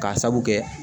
K'a sabu kɛ